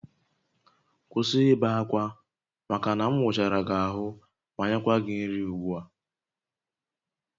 Kwụsị ibe akwa maka na m wụchara gị ahụ ma nyekwa gị nri ugbu a!